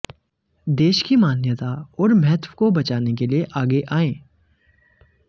देश की मान्यता और महत्व को बचाने के लिए आगे आएं